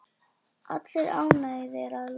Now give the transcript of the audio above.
Allir ánægðir að lokum?